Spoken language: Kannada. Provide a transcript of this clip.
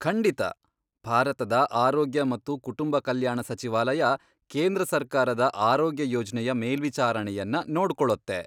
ಖಂಡಿತ. ಭಾರತದ ಆರೋಗ್ಯ ಮತ್ತು ಕುಟುಂಬ ಕಲ್ಯಾಣ ಸಚಿವಾಲಯ ಕೇಂದ್ರ ಸರ್ಕಾರದ ಆರೋಗ್ಯ ಯೋಜ್ನೆಯ ಮೇಲ್ವಿಚಾರಣೆಯನ್ನ ನೋಡ್ಕೊಳತ್ತೆ.